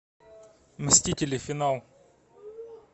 мстители финал